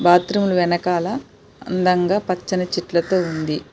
Bathroom అందంగా పచ్చని చెట్లు ఉన్నాయి.